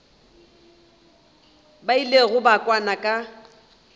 ba ilego ba kwana ka